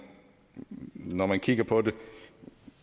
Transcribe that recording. når man kigger på det